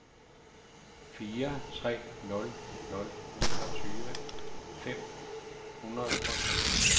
fire tre nul nul niogtyve fem hundrede og syv